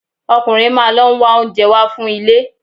Ọkùnrin máa lọ ń wá oúnjẹ wá fún ilé.